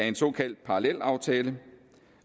en såkaldt parallelaftale